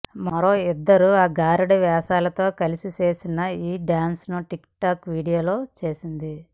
మరో ఇద్దరు అఘోర వేషగాళ్లతో కలిసి చేసిన ఈ డ్యాన్స్ను టిక్ టాక్ వీడియో చేసింది